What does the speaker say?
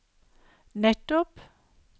nettopp